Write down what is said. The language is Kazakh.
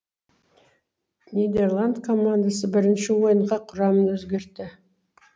нидерланд командасы бірінші ойынға құрамын өзгертті